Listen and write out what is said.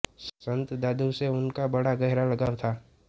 संत दादू से उनका बड़ा गहरा लगाव था